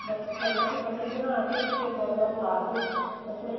ਬੱਸ center ਵਿੱਚ ਪੱਟੀ ਬਣਾ ਕੇ ਪਿੱਛੇ ਕੋਲਰ ਲਾ ਕੇ ਬੱਸ ਮੈਨੂੰ